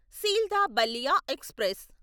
Sealdah Ballia express